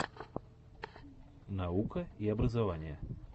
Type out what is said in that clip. наука и образование